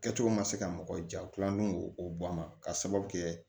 Kɛcogo ma se ka mɔgɔ ja u tilalen k'o o bɔ a ma k'a sababu kɛ